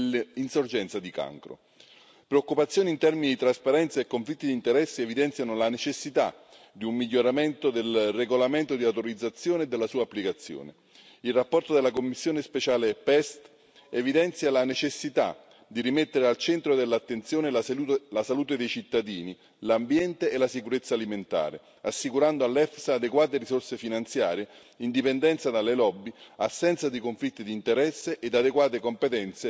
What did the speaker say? Preoccupazioni in termini di trasparenza e conflitti di interessi evidenziano la necessità di un miglioramento del regolamento di autorizzazione della sua applicazione. La relazione della commissione speciale PEST evidenzia la necessità di rimettere al centro dell'attenzione la salute dei cittadini, l'ambiente e la sicurezza alimentare, assicurando all'EFSA adeguate risorse finanziarie, indipendenza dalle lobby, assenza di conflitti di interesse e adeguate competenze nei processi di approvazione.